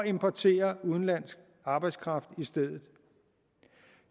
importere udenlandsk arbejdskraft i stedet